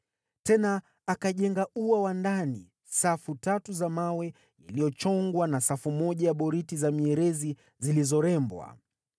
Tena akajenga ua wa ndani safu tatu za mawe yaliyochongwa na safu moja ya boriti za mierezi zilizorembwa.